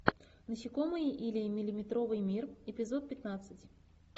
насекомые или миллиметровый мир эпизод пятнадцать